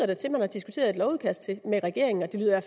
da til at man har diskuteret et lovudkast med regeringen og det lyder